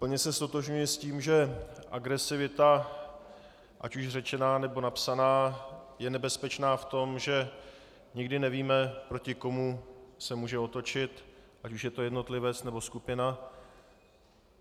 Plně se ztotožňuji s tím, že agresivita, ať už řečená, nebo napsaná, je nebezpečná v tom, že nikdy nevíme, proti komu se může otočit, ať už je to jednotlivec, nebo skupina.